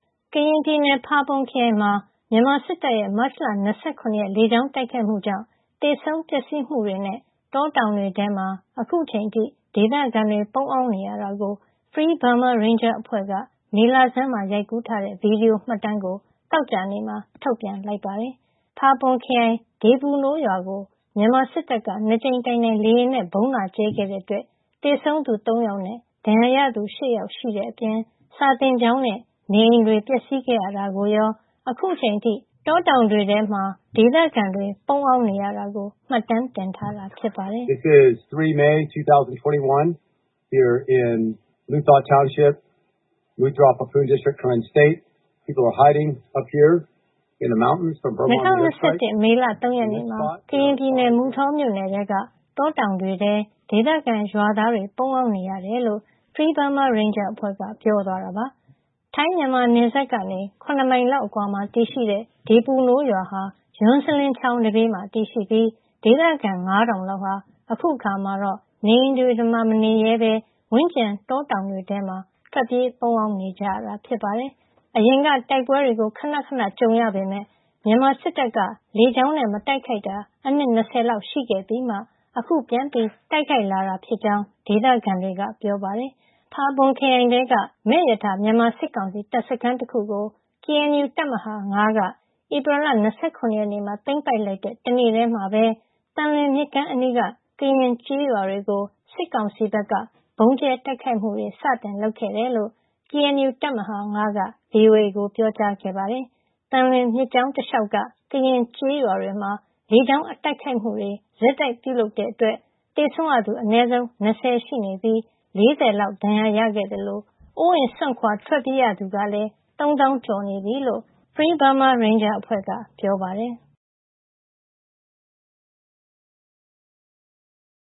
ကရင်ပြည်နယ် ဖာပွန်ခရိုင်မှာ မြန်မာစစ်တပ်ရဲ့ မတ်လ ၂၇ ရက် လေကြောင်းတိုက်ခိုက်မှုကြောင့် သေဆုံး ပျက်စီးမှုတွေနဲ့ တောတောင်တွေထဲမှာ အခုချိန်အထိ ဒေသခံတွေ ပုန်းအောင်းနေရတာကို Free Burma Ranger အဖွဲ့ မေလဆန်းက ရိုက်ကူးထားတဲ့ ဗွီဒီယိုမှတ်တမ်းကို သောကြာနေ့မှာ ထုတ်ပြန်လိုက်ပါတယ်။ ဖာပွန်ခရိုင် ဒေပူနိုးရွာကို မြန်မာစစ်တပ်က ၂ ကြိမ်တိုင်တိုင် လေယာဉ်နဲ့ ဗုံးလာကြဲခဲ့တဲ့အတွက် သေဆုံးသူ ၃ ယောက်နဲ့ ဒဏ်ရာရသူ ၈ ယောက်ရှိတဲ့အပြင် စာသင်ကျောင်းနဲ့ နေအိမ်တွေ ပျက်စီးခဲ့ရတာကိုရော အခုအချိန်ထိ တောတောင်ထဲ ပုန်းအောင်းနေရတာကို မှတ်တမ်းတင်ထားတာ ဖြစ်ပါတယ်။ “၂၀၂၁ မေလ ၃ ရက်နေ့မှာ ကရင်ပြည်နယ် မုထောမြို့နယ်ထဲက တောတောင်တွေထဲ ဒေသခံ ရွာသားတွေ ပုန်းအောင်းနေရတယ်။” လို့ Free Burma Ranger အဖွဲ့က ပြောသွားတာပါ။ ထိုင်း-မြန်မာနယ်စပ်ကနေ ၇ မိုင်လောက်အကွာမှာ တည်ရှိတဲ့ ဒေပူနိုးရွာဟာ ယွန်းစလင်းချောင်းနံဘေးမှာ တည်ရှိပြီး ဒေသခံ ၅,၀၀၀ လောက်ဟာ အခုအခါမှာတော့ နေအိမ်တွေမှာ မနေရဲဘဲ ဝန်းကျင် တောတောင်တွေထဲ ပုန်းအောင်းနေကြရတာ ဖြစ်ပါတယ်။ အရင်က တိုက်ပွဲတွေ ခဏခဏကြုံရပေမယ့် မြန်မာစစ်တပ်က လေကြောင်းနဲ့ မတိုက်ခိုက်တာ အနှစ် ၂၀ လောက်ရှိခဲ့ပြီးမှ အခု ပြန်တိုက်လာတာဖြစ်ကြောင်း ဒေသခံတွေက ပြောပါတယ်။ ဖာပွန်ခရိုင်ထဲက မယ့်ရထာ မြန်မာစစ်ကောင်စီ တပ်စခန်းတခုကို ကေအန်ယူ တပ်မဟာ ၅ က ဧပြီလ ၂၇ ရက်နေ့မှာ သိမ်းပိုက်လိုက်တဲ့ တနေ့တည်းမှာပဲ သံလွင်မြစ်ကမ်းအနီးက ကရင်ကျေးရွာတွေကို စစ်ကောင်စီဘက်က ဗုံးကြဲ တိုက်ခိုက်မှု လုပ်ခဲ့တယ်လို့ ကေအန်ယူ တပ်မဟာ ၅ က ဗွီအိုအေကို ပြောကြားခဲ့ပါတယ်။ သံလွင်မြစ်ကြောင်းတလျှောက်က ကရင်ကျေးရွာတွေမှာ လေကြောင်းတိုက်ခိုက်မှုတွေ ရက်ဆက်ပြုလုပ်ခဲ့တဲ့အတွက် သေဆုံးရသူ အနည်းဆုံး ၂၀ ရှိပြီး ၄၀ လောက် ဒဏ်ရာရခဲ့သလို အိုးအိမ်စွန့်ခွါ ထွက်ပြေးရသူက ၃၀,၀၀၀ ကျော်နေပြီလို့ Free Burma Ranger က ပြောပါတယ်။